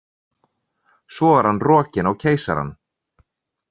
Svo var hann rokinn á Keisarann.